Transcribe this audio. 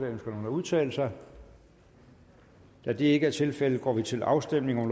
ønsker nogen at udtale sig da det ikke er tilfældet går vi til afstemning